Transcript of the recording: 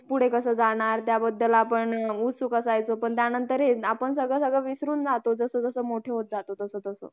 आणि next विषय आहे तो आमचा sp foundation course जसे company मध्ये जे काय premises असतात त्यामध्ये आपला behaviour hed ~